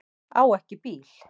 Á ekki bíl.